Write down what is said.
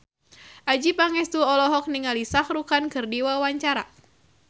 Adjie Pangestu olohok ningali Shah Rukh Khan keur diwawancara